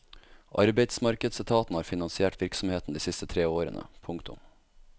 Arbeidsmarkedsetaten har finansiert virksomheten de siste tre årene. punktum